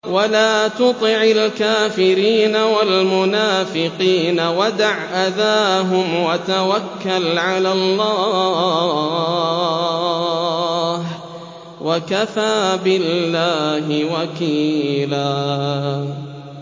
وَلَا تُطِعِ الْكَافِرِينَ وَالْمُنَافِقِينَ وَدَعْ أَذَاهُمْ وَتَوَكَّلْ عَلَى اللَّهِ ۚ وَكَفَىٰ بِاللَّهِ وَكِيلًا